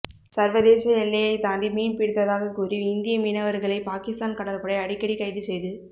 சர்வதேச எல்லையை தாண்டி மீன் பிடித்ததாக கூறி இந்திய மீனவர்களை பாகிஸ்தான் கடற்படை அடிக்கடி கைது செய்து